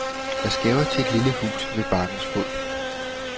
Jeg skæver til et lille hus ved bakkens fod.